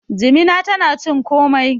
jimina tana cin komai